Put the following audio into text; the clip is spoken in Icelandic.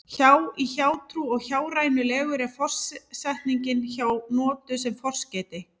hjá í hjátrú og hjárænulegur er forsetningin hjá notuð sem forskeyti